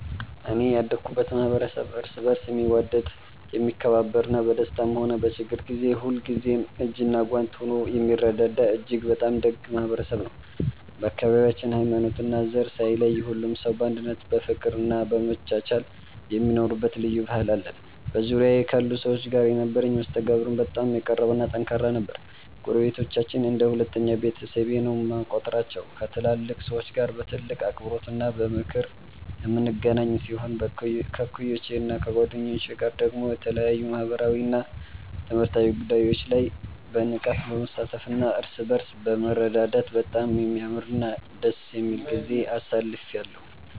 እኔ ያደኩበት ማኅበረሰብ እርስ በርስ የሚዋደድ፣ የሚከባበርና በደስታም ሆነ በችግር ጊዜ ሁልጊዜም እጅና ጓንት ሆኖ የሚረዳዳ እጅግ በጣም ደግ ማኅበረሰብ ነው። በአካባቢያችን ሃይማኖትና ዘር ሳይለይ ሁሉም ሰው በአንድነት በፍቅርና በመቻቻል የሚኖርበት ልዩ ባህል አለን። በዙሪያዬ ካሉ ሰዎች ጋር የነበረኝ መስተጋብርም በጣም የቀረበና ጠንካራ ነበር። ጎረቤቶቻችንን እንደ ሁለተኛ ቤተሰቤ ነው የምቆጥራቸው፤ ከትላልቅ ሰዎች ጋር በጥልቅ አክብሮትና በምክር የምንገናኝ ሲሆን፣ ከእኩዮቼና ከጓደኞቼ ጋር ደግሞ በተለያዩ ማኅበራዊና ትምህርታዊ ጉዳዮች ላይ በንቃት በመሳተፍና እርስ በርስ በመረዳዳት በጣም የሚያምርና ደስ የሚል ጊዜ አሳልፌአለሁ።